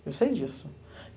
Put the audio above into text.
Eu sei disso.